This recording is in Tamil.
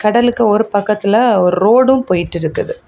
கடலுக்கு ஒரு பக்கத்துல ஒரு ரோடும் போயிட்டு இருக்குது.